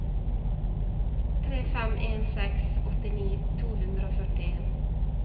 tre fem en seks åttini to hundre og førtien